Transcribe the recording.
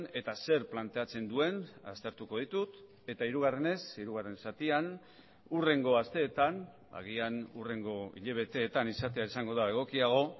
eta zer planteatzen duen aztertuko ditut eta hirugarrenez hirugarren zatian hurrengo asteetan agian hurrengo hilabeteetan izatea izango da egokiago